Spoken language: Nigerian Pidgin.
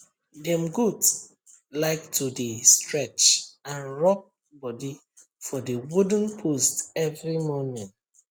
dem goat like to dey stretch and rub body for the wooden post every morning